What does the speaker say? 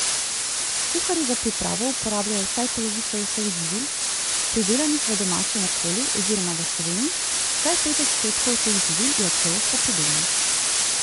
Kuharji za pripravo uporabljajo vsaj polovico vseh živil, pridelanih v domačem okolju oziroma v Sloveniji, vsaj pet odstotkov teh živil je ekološko pridelanih.